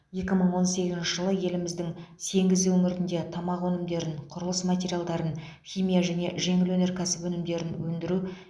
екі мың он сегізінші жылы еліміздің сегіз өңірінде тамақ өнімдерін құрылыс материалдарын химия және жеңіл өнеркәсіп өнімдерін өндіру